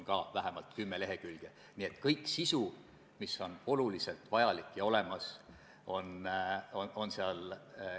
Me vaikimisi tõesti eeldasime, et Sotsiaalministeerium võib-olla annab info edasi puuetega inimeste kojale.